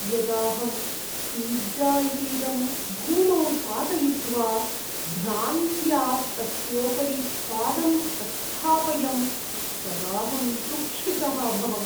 यदाहं पिज़्ज़ा इतीदं भूमौ पातयित्वा भ्रान्त्या तस्योपरि पादम् अस्थापयं तदाहं दुःखितः अभवम्।